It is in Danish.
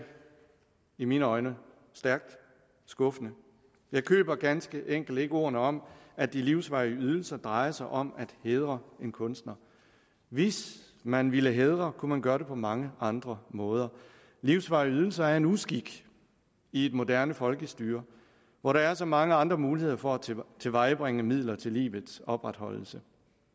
i mine øjne stærkt skuffende jeg køber ganske enkelt ikke ordene om at de livsvarige ydelser drejer sig om at hædre en kunstner hvis man ville hædre kunne man gøre det på mange andre måder livsvarige ydelser er en uskik i et moderne folkestyre hvor der er så mange andre muligheder for at tilvejebringe midler til livets opretholdelse